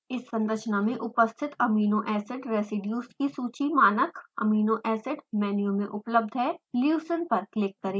इस संरचना में उपस्थित एमिनो एसिड रेज़ीडियुज़ की सूची मानक एमिनो एसिड मेनू में उपलब्ध है